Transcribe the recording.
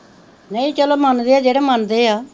ਨਹੀਂ ਚੱਲੋ ਮੰਨਦੇ ਆ ਜਿਹੜੇ ਮੰਨਦੇ ਆ